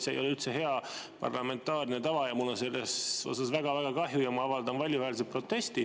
See ei ole üldse hea parlamentaarne tava, mul on selle tõttu väga-väga kahju ja ma avaldan valjuhäälselt protesti.